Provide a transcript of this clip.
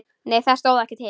Nei það stóð ekki til.